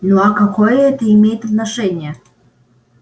ну а какое это имеет отношение